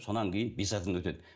содан кейін бес атадан өтеді